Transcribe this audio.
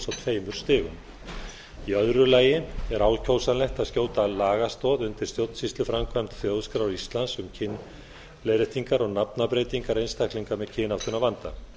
tveimur stigum í öðru lagi er ákjósanlegt að skjóta lagastoð undir stjórnsýsluframkvæmd þjóðskrár íslands um kynleiðréttingar og nafnabreytingar einstaklinga með kynáttunarvanda